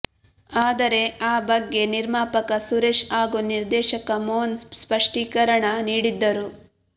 ಆದರೆ ಆ ಬಗ್ಗೆ ನಿರ್ಮಾಪಕ ಸುರೇಶ್ ಹಾಗೂ ನಿರ್ದೇಶಕ ಮೋಹನ್ ಸ್ಪಷ್ಟೀಕರಣ ನೀಡಿದ್ದರು